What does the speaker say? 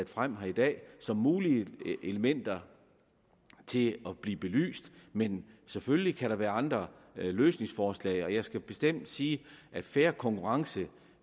frem her i dag som mulige elementer til at blive belyst men selvfølgelig kan der være andre løsningsforslag jeg skal bestemt sige at fair konkurrence